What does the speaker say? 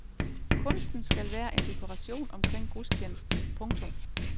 Kunsten skal være en dekoration omkring gudstjenesten. punktum